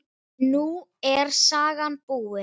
Nú er sagan búin.